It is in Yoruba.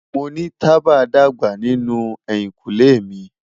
Mo ni taba dagba ninu ehinkunle mi